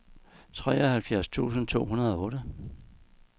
treoghalvfjerds tusind to hundrede og otte